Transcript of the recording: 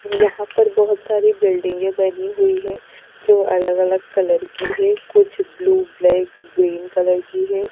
यहाँ पर बहुत सारी बिल्डिंगें बनी हुई है जो अलग-अलग कलर की है कुछ ब्लू ब्लैक ग्रीन कलर की है।